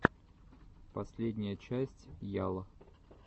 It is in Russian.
последняя часть ял